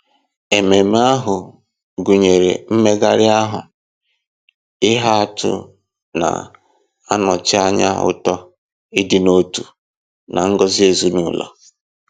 Ememe ahụ gụnyere mmegharị ahụ ihe atụ na-anọchi anya uto, ịdị n'otu, na ngọzi ezinụlọ.